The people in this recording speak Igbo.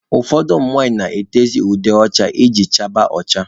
Ụfọdụ ụmụ nwanyị na-etezị ude ọcha iji chaba ọcha.